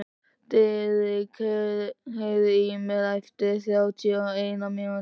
Diðrik, heyrðu í mér eftir þrjátíu og eina mínútur.